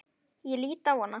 Ég lít á hana.